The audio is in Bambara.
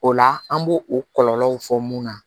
O la an b'o o kɔlɔlɔw fɔ mun na